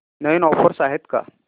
नवीन offers आहेत का